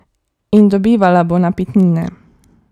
In dobivala bo napitnine.